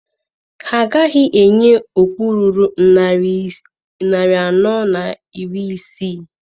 Ha agaghị enye okpu ruru narị anọ na iri isii.